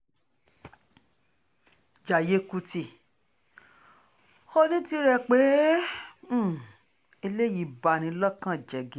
jayé kùtì kó o ní tirẹ̀ pé um ẹlẹ́yìí bá ní lọ́kàn jẹ́